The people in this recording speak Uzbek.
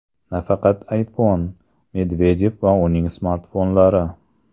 Nafaqat iPhone: Medvedev va uning smartfonlari.